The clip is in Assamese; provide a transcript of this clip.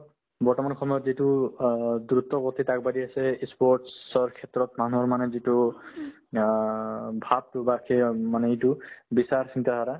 বৰ্তমান সময়ত যিটো অ দ্ৰুতগতিত আগবাঢ়ি আছে ই sports ৰ ক্ষেত্ৰত মানুহৰ মানে যিটো অ ভাবতো বা সেই অ মানে এইটো বিচাৰ চিন্তা ধাৰা